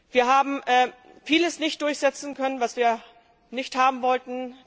Wir haben vieles nicht durchsetzen können, was wir nicht haben wollten.